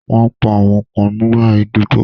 Wọ́n pa àwọn kan nígbà idiboy